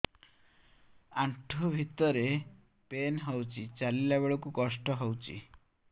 ଆଣ୍ଠୁ ଭିତରେ ପେନ୍ ହଉଚି ଚାଲିଲା ବେଳକୁ କଷ୍ଟ ହଉଚି